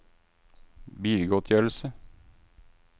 bilgodtgjørelse